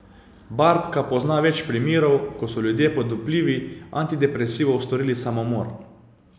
Barbka pozna več primerov, ko so ljudje pod vplivi antidepresivov storili samomor.